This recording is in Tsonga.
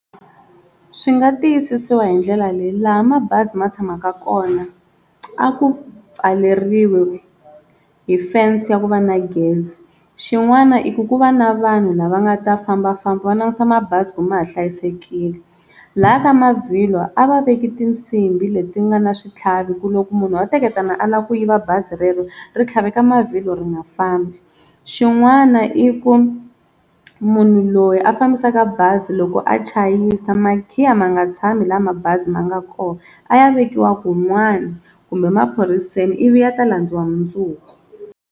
Swi nga tiyisisiwa hi ndlela leyi laha mabazi ma tshamaka kona a ku pfaleriwi hi fense ya ku va na gezi xin'wana i ku ku va na vanhu lava nga ta fambafamba va langusa mabazi ku ma ha hlayisekile, lha ka mavhilwa a va veki tinsimbhi leti nga na switlhavi ku loko munhu a teketana a lava ku yiva bazi rero ri tlhaveka mavhilwa ri nga fambi, xin'wana i ku munhu loyi a fambisaka bazi loko a chayisa makhiya ma nga tshami laha mabazi ma nga kona a ya vekiwa kun'wani kumbe maphoriseni i vi ya ta landziwa mundzuku.